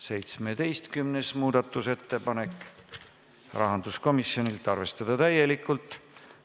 17. muudatusettepanek, rahanduskomisjonilt: arvestada täielikult.